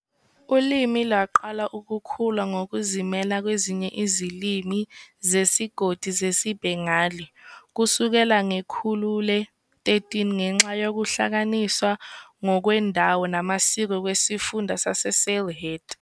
Ulimi lwaqala ukukhula ngokuzimela kwezinye izilimi zesigodi zesiBengali kusukela ngekhulu le-13, ngenxa yokuhlukaniswa ngokwendawo namasiko kwesifunda saseSylhet.